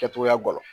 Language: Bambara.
Kɛcogoya gɔlɔn